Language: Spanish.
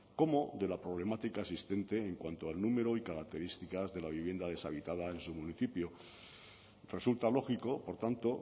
como de la problemática existente en cuanto al número y características de la vivienda deshabitada en su municipio resulta lógico por tanto